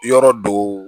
Yɔrɔ dow